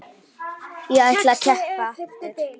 Ég ætla að keppa aftur.